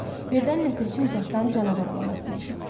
Birdən ləpirçi uzaqdan canavar ulamasını eşitdi.